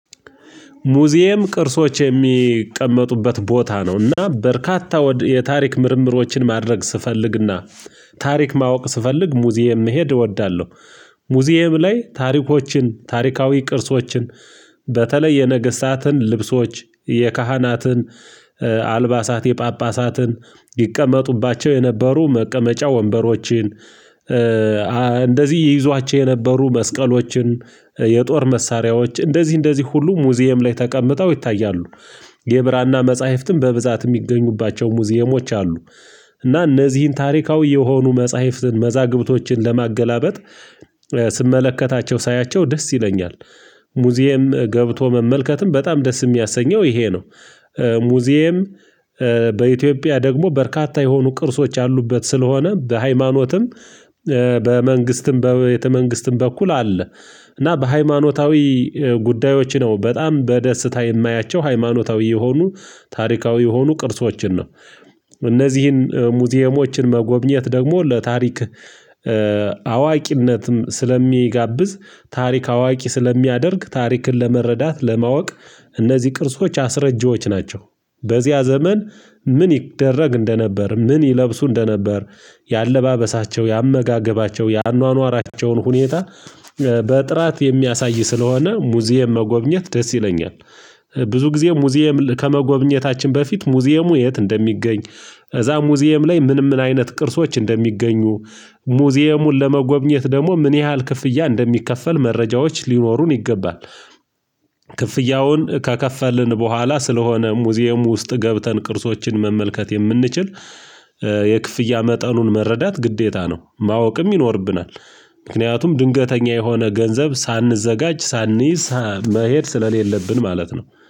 ሙዚየም ቅርሶች የሚቀመጡበት ቦታ ነው። እና በርካታ የታሪክ ምርምሮችን ማድረግ ስፈልግና ታሪክ ማወቅ ስፈልግ ሙዚየም መሄድ እወዳለሁ። ሙዚየም ላይ ታሪኮችን ታሪካዊ ቅርሶችን በተለይ የነገስታትን ልብሶች የካህናትን አልባሳት የፓፓሳትን ይቀመጡባቸው የነበሩ መቀመጫ ወንበሮችን እንደዚህ ይይዟቸው የነበሩ መስቀሎችን የጦር መሳሪያዎች ሙዚየም ላይ ተቀምጠው ይታያሉ። የብራና መጻህፍትም የሚገኙባቸው ሙዚየሞች አሉ። እና እነዚህን ታሪካዊ የሆኑ መፃህፍትን መዛግብቶችን ለማገላበጥ ስመለከታቸው ሳያቸው ደስ ይለኛል። ሙዚየም ገብቶ መመልከትም በጣም ደስ የሚያሰኘው ይሄ ነው። ሙዚየም በኢትዮጵያ ደግሞ በርካታ የሆኑ ቅርሶች ያሉበት ስለሆነ በሃይማኖትም በመንግስትም በቤተ-መንግስትም በኩል አለ። እና በሃይማኖታዊ ጉዳዮች ነው በጣም በደስታ የማያቸው ሃይማኖታዊ የሆኑ ታሪካዊ የሆኑ ቅርሶችን ነው። እነዚህን ሙዚየሞችን መጎብኘት ደግሞ ለታሪክ አዋቂነትም ስለሚጋብዝ ታሪክ አዋቂ ስለሚያደርግ ታሪክን ለመረዳት ለማወቅ እነዚህ ቅርሶች አስረጂዎች ናቸው። በዚያ ዘመን ምን ይደረግ እንደነበር ምን ይለብሱ እንደነበር የአለባበሳቸው የአመጋገባቸው የአኗኗራቸውን ሁኔታ በጥራት የሚያሳይ ስለሆነ ሙዚየም መጎብኘት ደስ ይለኛል። ብዙ ጊዜ ሙዚየም ከመጎብኘታችን በፊት ሙዚየሙ የት እንደሚገኝ እዛ ሙዚየም ላይ ምን ምን አይነት ቅርሶች እንደሚገኙ ሙዚየሙን ለመጎብኘት ደግሞ ምን ያህል ክፍያ እንደሚከፈል መረጃዎች ሊኖሩን ይገባል። ክፍያውን ከከፈልን በኋላ ስለሆነ ሙዚየም ውስጥ ገብተን ቅርሶችን መመልከት የምንችል የክፍያ መጠኑን መረዳት ግዴታ ነው። ማወቅም ይኖርብናል። ምክንያቱም ድንገተኛ የሆነ ገንዘብ ሳንጋጅ ሳንይዝ መሄድ ስለሌለብን ማለት ነው።